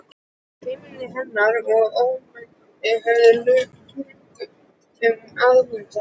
Feimni hennar og ómannblendni höfðu löngum amað mér.